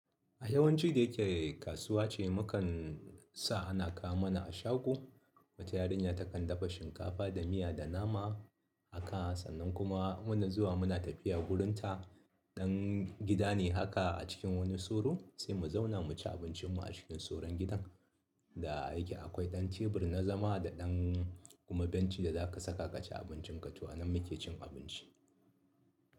A yawanci da yake kasuwa ce mu kan sa ana kawo mana a shago. Wata yarinya takan dafa shinkafa da miya da nama a kawo. Sannan kuma muna zuwa muna tafiya wurin ta. Dan gida ne haka a cikin wani soro sai mu zauna mu ci abincinmu a cikin soron gidan. Da yake akwai ɗan tebur na zama da ɗan kuma bencin da zaka saka ka ci abincinka. To a nan muke cin abinci.